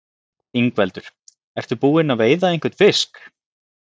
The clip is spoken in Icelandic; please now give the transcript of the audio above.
Ingveldur: Ertu búinn að veiða einhvern fisk?